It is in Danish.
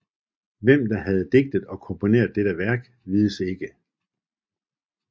Hvem der havde digtet og komponeret dette Værk vides ikke